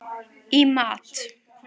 í mat.